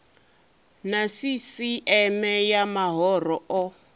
na sisieme ya mahoro o